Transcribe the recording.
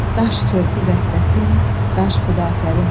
Daş körpü vəhdətin, daş xudafərin.